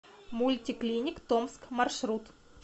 мульти клиник томск маршрут